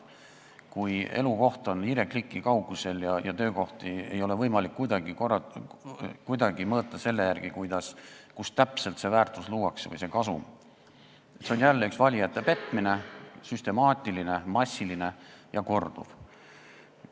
Kui elukoht on hiirekliki kaugusel ja töökohti ei ole võimalik kuidagi mõõta selle järgi, kus täpselt see väärtus või kasum luuakse, siis on see jälle valijate petmine, süstemaatiline, massiline ja korduv petmine.